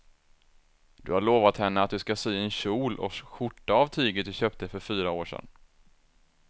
Du har lovat henne att du ska sy en kjol och skjorta av tyget du köpte för fyra år sedan.